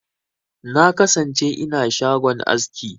Na kasance ina shagon aski.